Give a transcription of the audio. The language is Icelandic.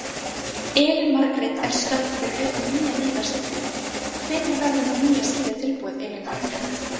Elín Margrét er stödd fyrir utan nýja neyðarskýlið, hvenær verður nú skýlið tilbúið Elín Margrét?